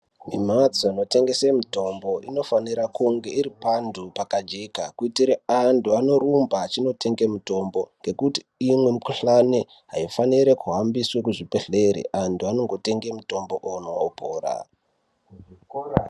Mbatso inotengesa mitengo inofanira kunge iripanhu pakajeka kuitira kuti antu anorumba achiendotenga mitombo ngekuti imweni mikuhlani aifani kuhambira kuzvibhedhera antu anongotenga mitombo opora.